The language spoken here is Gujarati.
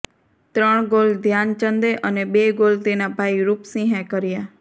ત્રણ ગોલ ધ્યાનચંદે અને બે ગોલ તેના ભાઇ રૂપસિંહે કર્યા